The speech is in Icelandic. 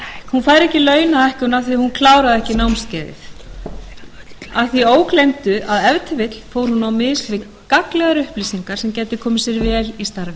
af því að hún kláraði ekki námskeiðið að því ógleymdu að ef til vill fór hún á mis við gagnlegar upplýsingar sem gætu komið sér vel í starfi